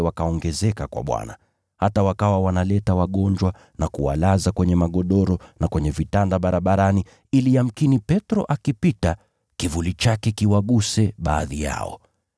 Hata wakawa wanawaleta wagonjwa na kuwalaza kwenye magodoro na kwenye vitanda barabarani ili yamkini Petro akipita kivuli chake kiwaguse baadhi yao.